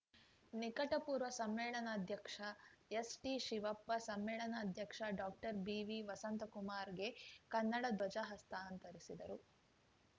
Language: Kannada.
ನಿಕಟ ಪೂರ್ವ ಸಮ್ಮೇಳನಾಧ್ಯಕ್ಷ ಎಸ್‌ಟಿಶಿವಪ್ಪ ಸಮ್ಮೇಳನಾಧ್ಯಕ್ಷ ಡಾಕ್ಟರ್ಬಿವಿವಸಂತಕುಮಾರ್‌ಗೆ ಕನ್ನಡ ಧ್ವಜ ಹಸ್ತಾಂತರಿಸಿದರು